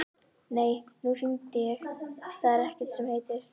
Nei, nú hringi ég, það er ekkert sem heitir!